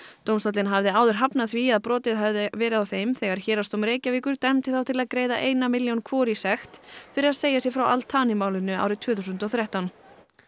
dómstóllinn hafði áður hafnað því að brotið hefði verið á þeim þegar Héraðsdómur Reykjavíkur dæmdi þá til að greiða eina milljón hvor í sekt fyrir að segja sig frá Al málinu árið tvö þúsund og þrettán